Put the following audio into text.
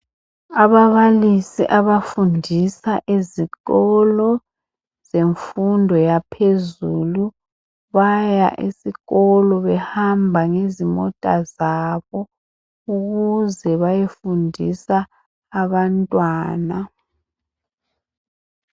Ababalisi abafundisa ezikolo zemfundo yaphezulu baya esikolo behamba ngezimota zabo ukuze bayefundisa abantwana.